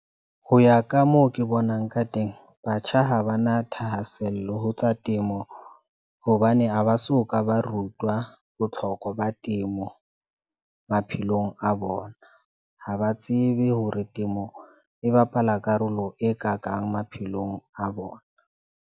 Ho ya ka moo ke bonang ka teng. Batjha ha ba na thahasello ho tsa temo, hobane ha ba so ka ba rutwa botlhokwa ba temo maphelong a bona. Ha ba tsebe hore temo e bapala karolo e kakang maphelong a bona.